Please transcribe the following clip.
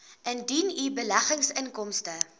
indien u beleggingsinkomste